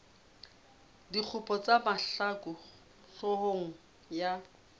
dikgopo tsa mahlaku hloohong ya